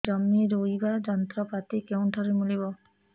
ଜମି ରୋଇବା ଯନ୍ତ୍ରପାତି କେଉଁଠାରୁ ମିଳିବ